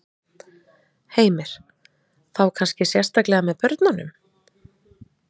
Heimir: Þá kannski sérstaklega með börnunum?